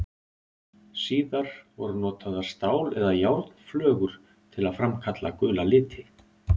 Síðar voru notaðar stál- eða járnflögur til að framkalla gula liti.